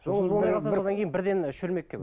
жолыңыз болмай қалса содан кейін бірден і шөлмекке